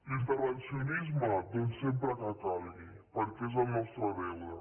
l’intervencionisme doncs sempre que calgui perquè és el nostre deure